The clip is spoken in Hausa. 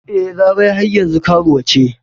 E, Larai har yanzu karuwa ce.